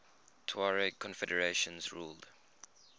tuareg confederations ruled